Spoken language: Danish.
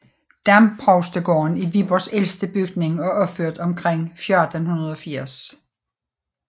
Domprovstegården er Viborgs ældste bygning og opført omkring år 1480